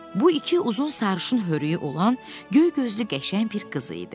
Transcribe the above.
Bu iki uzun sarışın hörüyü olan göygözlü qəşəng bir qız idi.